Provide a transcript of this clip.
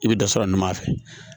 I bɛ dɔ sɔrɔ ɲuman fɛ